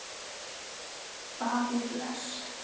Davíð Bless.